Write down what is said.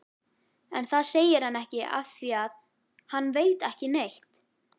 En það segir hann ekki afþvíað hann veit ekki neitt.